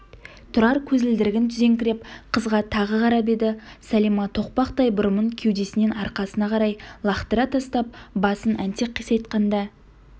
тұрар көзілдірігін түзеңкіреп қызға тағы қарап еді сәлима тоқпақтай бұрымын кеудесінен арқасына қарай лақтыра тастап басын әнтек қисайтқанда